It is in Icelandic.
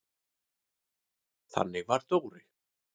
Þannig var Dóri.